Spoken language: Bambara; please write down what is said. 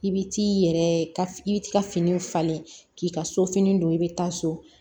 I bi t'i yɛrɛ i bi t'i ka fini falen k'i ka so fini don i bi taa so